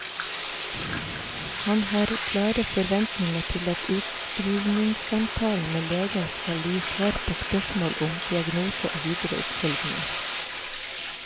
Han har klare forventninger til at utskrivningssamtalen med legen skal gi svar på spørsmål om diagnose og videre oppfølging.